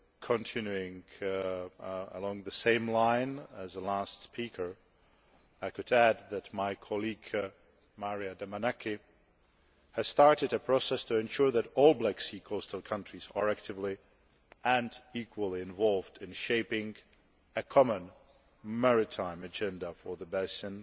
Continuing along the same line as the last speaker, I could add that my colleague Maria Damanaki has started a process to ensure that all Black Sea coastal countries are actively and equally involved in shaping a common maritime agenda for the basin